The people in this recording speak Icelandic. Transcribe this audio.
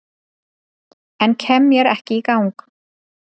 En kem mér ekki í gang